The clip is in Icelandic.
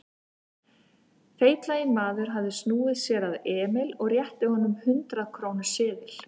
Feitlaginn maður hafði snúið sér að Emil og rétti að honum hundrað-króna seðil.